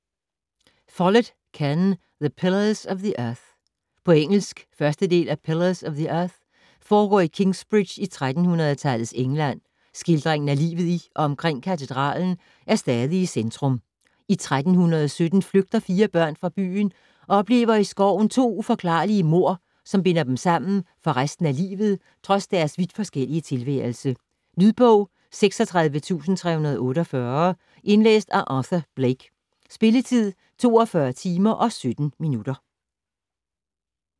Follett, Ken: The pillars of the earth På engelsk. 1. del af Pillars of the earth. Foregår i Kingsbridge i 1300-tallets England, skildringen af livet i og omkring katedralen er stadig i centrum. I 1327 flygter fire børn fra byen og oplever i skoven to uforklarlige mord, som binder dem sammen for resten af livet trods deres vidt forskellige tilværelse. Lydbog 36348 Indlæst af Arthur Blake Spilletid: 42 timer, 17 minutter.